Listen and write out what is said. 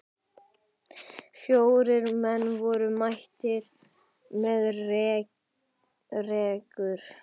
Fjórir menn voru mættir með rekur.